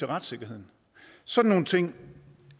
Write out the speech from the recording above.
retssikkerheden sådan nogle ting